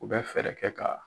U bɛ fɛɛrɛ kɛ ka.